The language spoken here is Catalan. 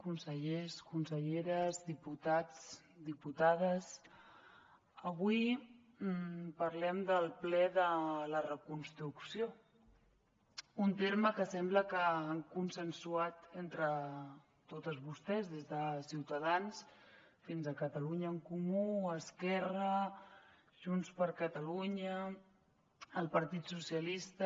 consellers conselleres diputats diputades avui parlem del ple de la reconstrucció un terme que sembla que han consensuat entre totes vostès des de ciutadans fins a catalunya en comú esquerra junts per catalunya el partit socialistes